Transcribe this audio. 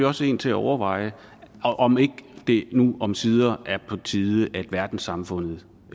også en til at overveje om ikke det nu omsider er på tide at verdenssamfundet